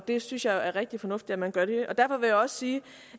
det synes jeg er rigtig fornuftigt at man gør derfor vil jeg også sige